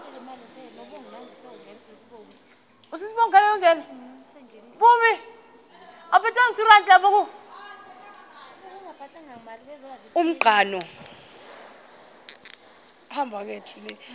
umqhano